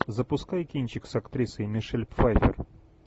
запускай кинчик с актрисой мишель пфайффер